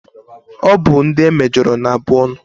Ọ bụ ndị e mejọrọ na abụ ọnụ.